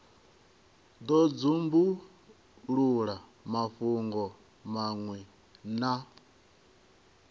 do dzumbulula mafhungo manwe na